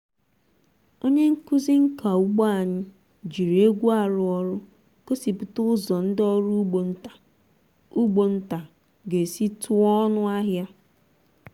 onye nkuzi nka ugbo anyị jiri egwu arụ ọrụ gosipụta ụzọ ndị ọrụ ugbo nta ugbo nta ga-esi tụọ ọnụ ahịa.